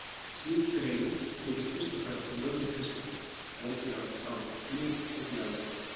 Slík greining byggist fyrst og fremst á lögun kristalla, en einnig á lit og gljáa.